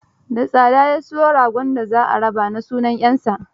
Da tsada ya siyo goron da za a raba na sunan 'yarsa.